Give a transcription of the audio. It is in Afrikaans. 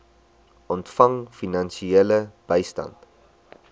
ontvang finansiële bystand